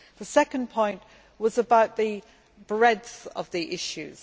The second point was about the breadth of the issues.